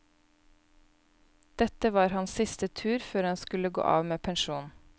Dette var hans siste tur før han skulle gå av med pensjon.